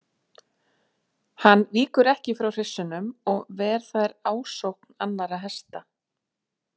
Hann víkur ekki frá hryssunum og ver þær ásókn annarra hesta.